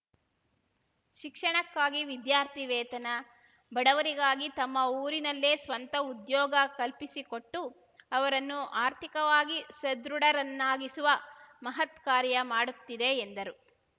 ಶಿಕ್ಷಣಕ್ಕಾಗಿ ವಿದ್ಯಾರ್ಥಿ ವೇತನ ಬಡವರಿಗಾಗಿ ತಮ್ಮ ಊರಿನಲ್ಲೇ ಸ್ವಂತ ಉದ್ಯೋಗ ಕಲ್ಪಿಸಿಕೊಟ್ಟು ಅವರನ್ನು ಆರ್ಥಿಕವಾಗಿ ಸದೃಢರನ್ನಾಗಿಸುವ ಮಹತ್ಕಾರ್ಯ ಮಾಡುತ್ತಿದೆ ಎಂದರು